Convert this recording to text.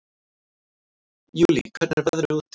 Júlí, hvernig er veðrið úti?